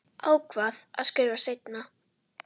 Ákvað að skrifa seinna.